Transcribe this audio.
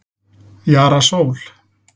Jara Sól